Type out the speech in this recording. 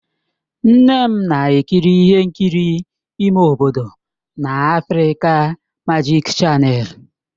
Nne m na-ekiri ihe nkiri ime obodo na Afrịka Majik chanèlụ.